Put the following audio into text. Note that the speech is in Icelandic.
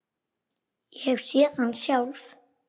Ég hef séð hann sjálf!